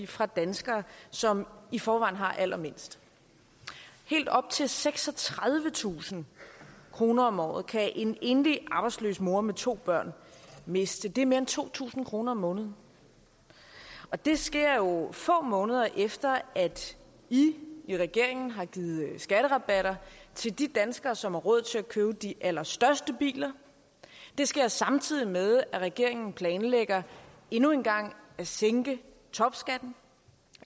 fra danskere som i forvejen har allermindst helt op til seksogtredivetusind kroner om året kan en enlig arbejdsløs mor med to børn miste det er mere end to tusind kroner om måneden og det sker jo få måneder efter at i i regeringen har givet skatterabatter til de danskere som har råd til at købe de allerstørste biler det sker samtidig med at regeringen planlægger endnu en gang at sænke topskatten